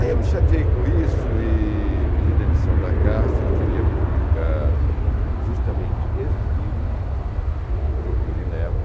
Aí eu me chateei com isso e pedi demissão da Caixa e queria publicar justamente este livro, Procure Névoa.